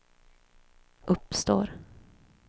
uppstår